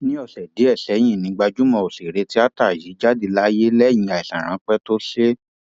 ní ọsẹ díẹ sẹyìn ni gbajúmọ òṣèré tíata yìí jáde láyé lẹyìn àìsàn ráńpẹ tó ṣe é